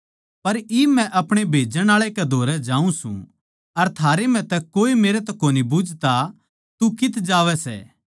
पर इब मै अपणे भेजण आळे कै धोरै जाऊँ सूं अर थारै म्ह तै कोए मेरै तै कोनी बुझता तू कित्त जावै सै